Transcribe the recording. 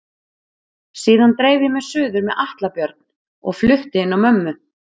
Síðan dreif ég mig suður með Atla Björn og flutti inn á mömmu.